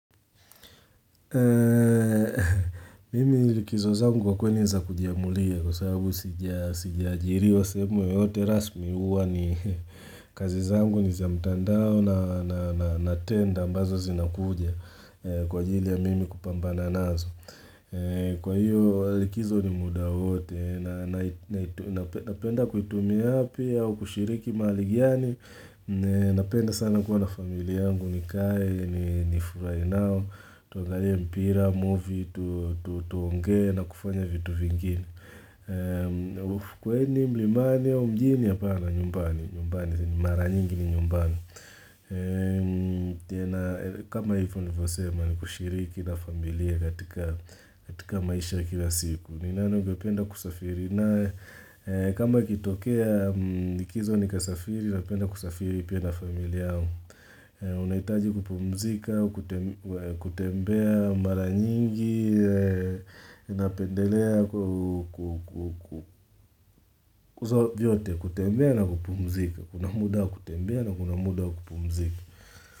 Mimi likizo zangu kwa kweni ni za kujiamulia kwa sababu sijiaajiriwa semu yoyote rasmi uwa ni kazi zangu ni za mtandao na tenda ambazo zinakuja kwa jili ya mimi kupambana nazo. Kwa hiyo alikizo ni muda wote na napenda kuitumia api au kushiriki mali gani Napenda sana kuwa na familia yangu nikae ni nifurai nao Tuangalie mpira, movie, tuonge na kufanya vitu vingine Kwa hini mlimani au mjini apana nyumbani Mara nyingi ni nyumbani kama hivyo nivosema ni kushiriki na familia katika katika maisha ya kila siku. Ninano upenda kusafiri. Na kama kitokea likizo upenda kusafiri upenda familiao. Unaitaji kupumzika kutembea mara nyingi napendelea kutembea na kupumzika. Kuna muda wa kutembea na kuna muda wa kupumzika.